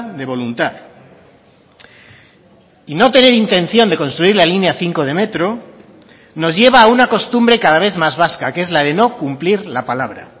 de voluntad y no tener intención de construir la línea cinco de metro nos lleva a una costumbre cada vez más vasca que es la de no cumplir la palabra